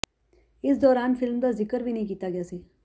ਇਸ ਦੌਰਾਨ ਫਿਲਮ ਦਾ ਜ਼ਿਕਰ ਵੀ ਨਹੀਂ ਕੀਤਾ ਗਿਆ ਸੀ